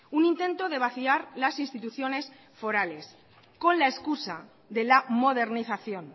un intento de vaciar las instituciones forales con la excusa de la modernización